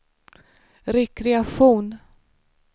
rekreation